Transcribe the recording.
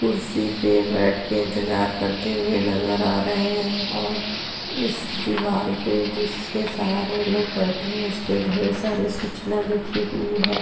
कुर्सी पे बैठेकर इंतजार करते हुए नजर आ रहै है और इस दीवार पर जिसके सहारे लोग बैठे है। इस पे ढेर सारी सुचना लिखी हुई है।